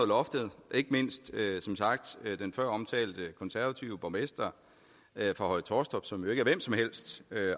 loftet ikke mindst den før omtalte konservative borgmester for høje taastrup som jo ikke er hvem som helst